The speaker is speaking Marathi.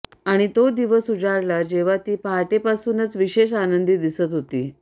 आणि तो दिवस उजाडला जेव्हा ती पहाटेपासूनच विशेष आनंदी दिसत होती